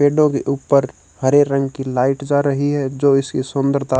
window के ऊपर हरे रंग की लाइट जा रही है जो इसकी सुंदरता--